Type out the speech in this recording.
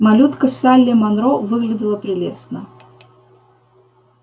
малютка салли манро выглядела прелестно